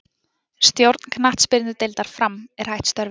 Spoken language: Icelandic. Stjórn knattspyrnudeildar Fram er hætt störfum.